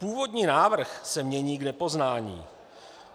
Původní návrh se mění k nepoznání.